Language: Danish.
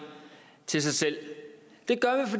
til sig selv det gør